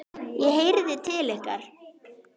ég heyrði til ykkar!